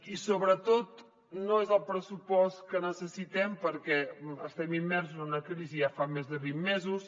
i sobretot no és el pressupost que necessitem perquè estem immersos en una crisi ja fa més de vint mesos